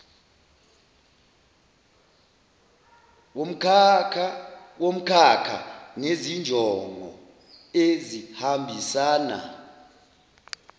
womkhakha nezinjongo ezihambisana